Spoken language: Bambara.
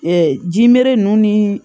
jimeri ninnu ni